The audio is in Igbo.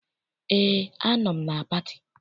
Eé, anọ m na pati.